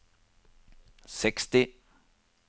seksti